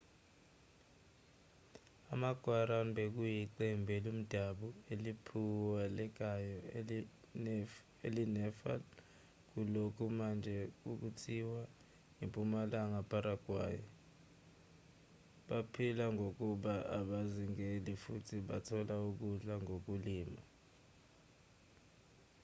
ama-guarani bekuyiqembu lomdabu eliphawulekayo elinefa kulokho manje okuthiwa impumalanga paraguay baphila ngokuba abazingeli futhi bathola ukudla ngokulima